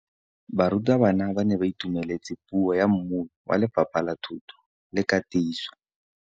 Barutabana ba ne ba itumeletse puô ya mmui wa Lefapha la Thuto le Katiso.